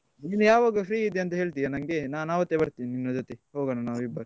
ನೀನು ಯಾವಾಗ free ಇದ್ದಿಯಂತಾ ಹೇಳ್ತಿಯ ನಂಗೆ? ನಾನ್ ಅವತ್ತೆ ಬರ್ತೇನೆ ನಿನ್ನ ಜೊತೆ, ಹೋಗೋಣ ನಾವಿಬ್ಬರು.